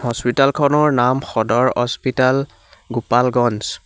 Hospital খনৰ নাম Sadar hospital Gopalganj.